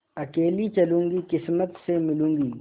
अकेली चलूँगी किस्मत से मिलूँगी